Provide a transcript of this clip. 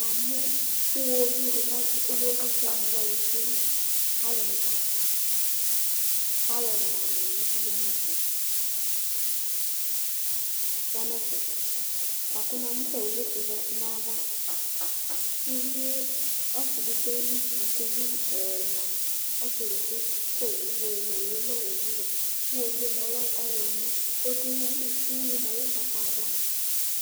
Iwovi dɩ azɛ alʋdzi, azɔyɩ nʋ dzata Alʋ ɛna nʋ owʋ dɩ ya nʋ ɛfɛ, kʋ uvi edigbo za nʋ ayava Uvi ɛla, ɔsɩ edigbo Owʋ yɛ lɛ ɔwɛ Iwovi yɛ lɛ ɔɣlɔmɔ, kʋ ɔdʋ ʋyʋɩ li Ʋyʋɩ yɛ lɛ ugbatawla